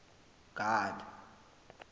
god